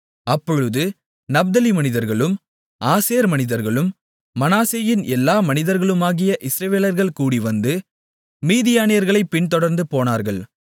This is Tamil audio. அப்பொழுது நப்தலி மனிதர்களும் ஆசேர் மனிதர்களும் மனாசேயின் எல்லா மனிதர்களுமாகிய இஸ்ரவேலர்கள் கூடிவந்து மீதியானியர்களைப் பின்தொடர்ந்து போனார்கள்